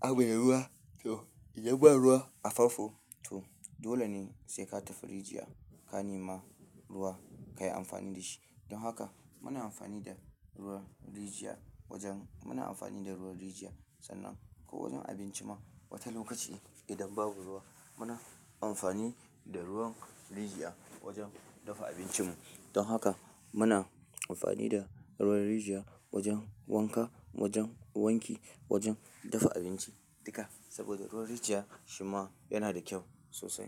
abu da ruwa. To idan ba ruwa a fanfo to dole ne sai ka tafi rijiya ka nema ruwa kayi amfani da shi. Don haka muna amfani da ruwan rijiya wajen, muna amfani da ruwan rijiya sannan ko wajen abinci ma wata lokaci idan babu ruwa muna amfani da ruwan rijiya wajen dafa abincinmu. Don haka muna amfani da ruwan rijiya wajen wanka, wajen wanki, wajen dafa abinci dukka saboda ruwan rijiya shi ma yana da kyau sosai.